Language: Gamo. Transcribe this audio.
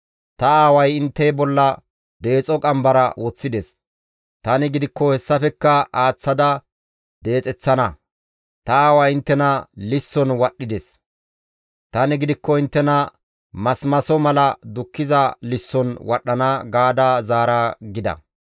Ta aaway intte bolla deexo qambara woththides; tani gidikko hessafekka aaththada deexeththana. Ta aaway inttena lisson wadhdhides; tani gidikko inttena masimaso mala dukkiza lisson wadhdhana› gaada zaara» gida.